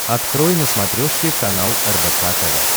открой на смотрешке канал рбк тв